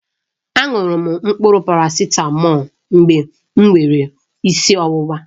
A ṅụrụ m mkpụrụ parasitamọlu mgbe m nwere isi ọwụwa